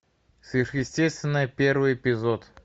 сверхъестественное первый эпизод